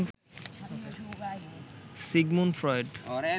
Sigmund Freud